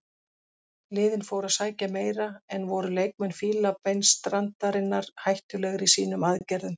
Liðin fóru að sækja meira en voru leikmenn Fílabeinsstrandarinnar hættulegri í sínum aðgerðum.